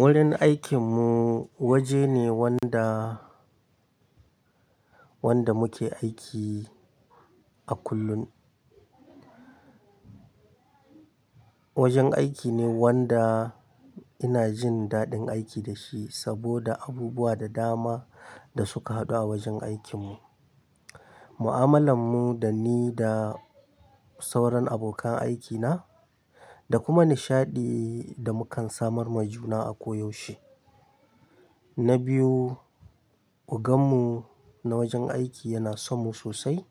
Wurin aikinmu waje ne wanda, wanda muke aiki a kullum. Wajen aiki ne wanda ina jin daɗin aiki da shi saboda abubuwa da dama da suka haɗu a wajen aikinmu. Mu'amalan mu da ni da sauran abokan aikina da kuma nishaɗi da mukan samar ma juna a koyaushe. Na biyu, oganmu na wajen aiki yana sonmu sosai.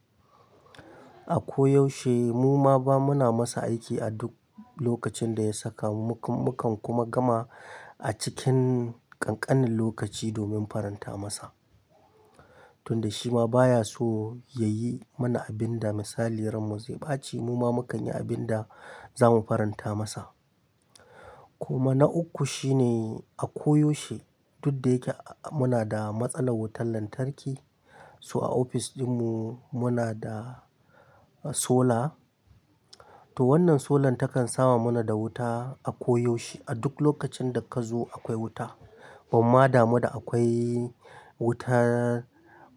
A koyaushe muma ba muna masa aiki a duk lokacin da ya saka mu, mukan kuma gama a cikin ƙanƙanin lokaci domin faranta masa. Tun da shi ma baya so ya yi mana abin da misali ranmu zai ɓace muma mukan yi abin da za mu faranta masa. Kuma na uku shine a koyaushe duk da yake muna da matsalar wutar lantarki, so a ofis ɗinmu muna da solar. To wannan solar ta kan sama mana da wuta a koyaushe a duk lokacin da ka zo akwai wuta. Amma dama da akwai wuta,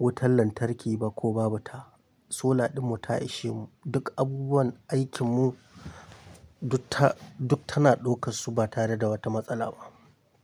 wutar lantarki ba ko babu ta, solar ɗinmu ta ishe mu. Duk abubuwan aikinmu duk ta, duk tana ɗaukar su ba tare da wata matsala ba.